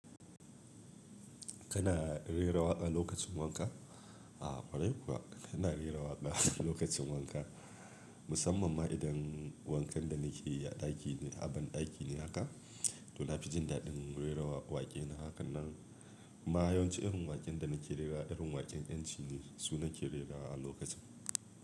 Kana rera waƙa lokacin wanka? A kwarai kuwa ina iya waƙa lokacin wanka, musamman ma idan wankan da nake yi a ɗaki ne, a ban ɗaki ne haka. To na fi jin daɗin rera waƙe na. Hakan nan kuma yawanci irin waƙen da nake rera, irin waƙen ƴanci ne su nake rerawa a lokacin.